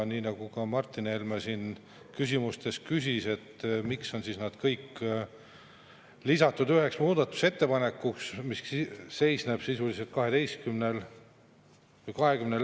Martin Helme küsimuste küsis, miks on kõikide ministeeriumide muudatused lisatud ühe muudatusettepanekuna, mis seisneb sisuliselt 20 lehel.